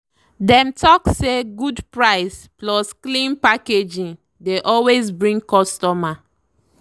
dem talk say good price plus clean packaging dey always bring customer.